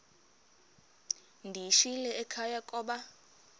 ndiyishiyile ekhaya koba